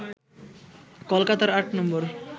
কলকাতার ৮ নম্বর